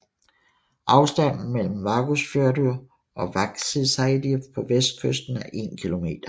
Afstanden mellem Vágsfjørður og Vágseiði på vestkysten er 1 km